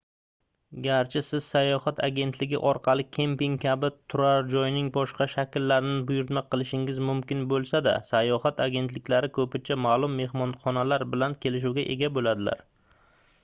garchi siz sayohat agentligi orqali kemping kabi turar-joyning boshqa shakllarini buyurtma qilishingiz mumkin boʻlsada sayohat agentliklari koʻpincha maʼlum mehmonxonalar bilan kelishuvga ega boʻladilar